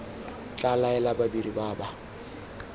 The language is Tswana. tla laela badiri ba ba